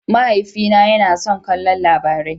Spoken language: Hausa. Mahaifina yana son kallon Labarai.